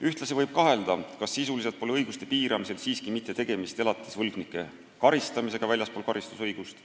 Ühtlasi võib kahelda, kas sisuliselt pole õiguste piiramisel siiski mitte tegemist elatisvõlgnike karistamisega väljaspool karistusõigust.